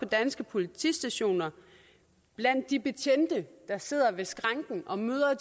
danske politistationer blandt de betjente der sidder ved skranken og møder